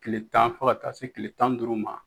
kile tan fɔ ka taa se kile tan ni duuru ma